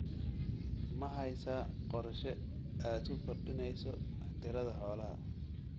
Ma haysaa qorshe aad ku kordhinayso tirada xoolaha?